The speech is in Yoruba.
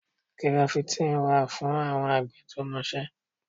Gíráfítìn wà fún àwọn àgbẹ̀ tó mọ iṣẹ́.